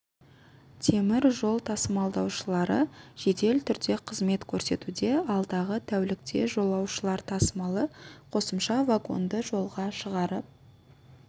темір жол тасымалдаушылары жедел түрде қызмет көрсетуде алдағы тәулікте жолаушылар тасымалы қосымша вагонды жолға шығарып